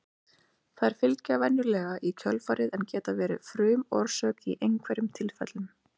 Þær fylgja venjulega í kjölfarið en geta verið frumorsök í einhverjum tilfellum.